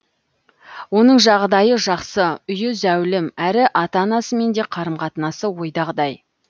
оның жағдайы жақсы үйі зәулім әрі ата анасымен де қарым қатынасы ойдағыдай